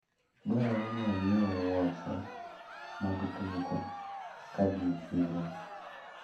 Dwarore n anyiewu wuoche mag tugo kadhi e chiro.